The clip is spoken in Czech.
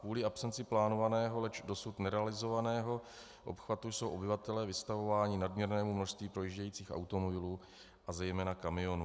Kvůli absenci plánovaného, leč dosud nerealizovaného obchvatu jsou obyvatelé vystavováni nadměrnému množství projíždějících automobilů a zejména kamionů.